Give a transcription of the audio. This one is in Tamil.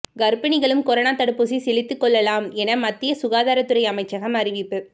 கர்ப்பிணிகளும் கொரோனா தடுப்பூசி செலுத்திக் கொள்ளலாம் என மத்திய சுகாதாரத்துறை அமைச்சகம் அறிவிப்பு